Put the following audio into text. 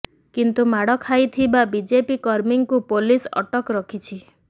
କିନ୍ତୁ ମାଡ଼ ଖାଇଥିବା ବିଜେପି କର୍ମୀଙ୍କୁ ପୋଲିସ୍ ଅଟକ ରଖିଛି